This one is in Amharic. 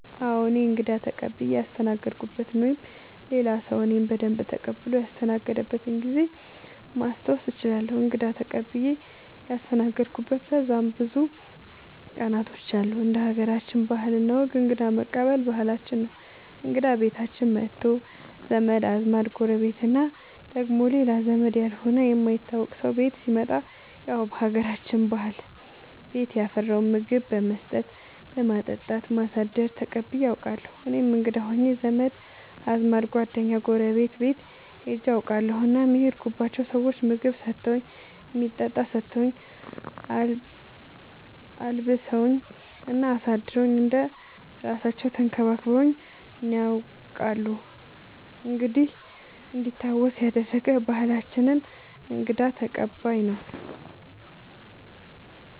አዎ እኔ እንግዳ ተቀብየ ያስተናገድኩበት ወይም ሌላ ሰዉ እኔን በደንብ ተቀብሎ ያስተናገደበት ጊዜ ማስታወስ እችላለሁ። እንግዳ ተቀብዬ ያስተናገድሁበት በጣም ብዙ ቀናቶች አሉ እንደ ሀገራችን ባህል እና ወግ እንግዳ መቀበል ባህላችን ነው እንግዳ ቤታችን መቶ ዘመድ አዝማድ ጎረቤት እና ደግሞ ሌላ ዘመድ ያልሆነ የማይታወቅ ሰው ቤት ሲመጣ ያው በሀገራችን ባህል ቤት ያፈራውን ምግብ በመስጠት በማጠጣት በማሳደር ተቀብዬ አውቃለሁ። እኔም እንግዳ ሆኜ ዘመድ አዝማድ ጓደኛ ጎረቤት ቤት ሄጄ አውቃለሁ እናም የሄድኩባቸው ሰዎች ምግብ ሰተውኝ የሚጠጣ ሰተውኝ አልብሰውኝ እና አሳድረውኝ እንደ እራሳለው ተንከባክበውኝ ነያውቃሉ እንዲህ እንዲታወስ ያደረገ ባህላችንን እንግዳ ተቀባይነት ነው።